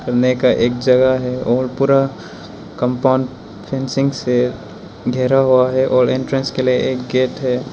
घुमने का एक जगह है और पूरा कंपाउंड फेंसिंग से घेरा हुआ है और एंट्रेंस के लिए एक गेट है।